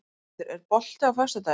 Steinhildur, er bolti á föstudaginn?